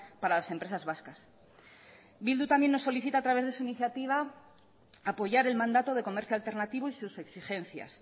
para las empresas vascas bildu también nos solicita a través de su iniciativa apoyar el mandato de comercio alternativo y sus exigencias